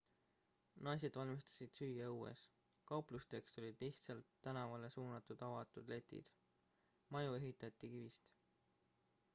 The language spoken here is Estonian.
naised valmistasid süüa õues kauplusteks olid lihtsalt tänavale suunatud avatud letid maju ehitati kivist